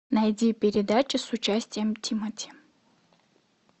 найди передачу с участием тимати